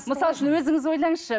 мысал үшін өзіңіз ойлаңызшы